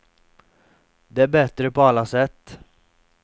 Det är bättre på alla sätt.